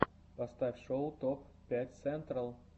поставь шоу топ пять сентрал